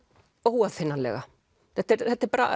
óaðfinnanlega þetta er þetta er